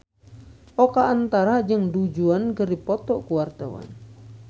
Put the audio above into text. Oka Antara jeung Du Juan keur dipoto ku wartawan